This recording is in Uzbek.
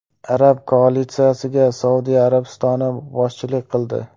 Arab koalitsiyasiga Saudiya Arabistoni boshchilik qildi.